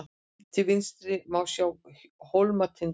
til vinstri má sjá hólmatind